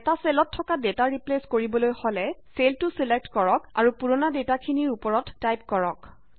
এটা চেলত থকা ডেটা ৰিপ্লেইছ কৰিবলৈ হলে চেলটো ছিলেক্ট কৰক আৰু পুৰনা ডেটাখিনিৰ উপৰত টাইপ কৰক